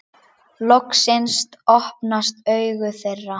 Loksins opnast augu þeirra.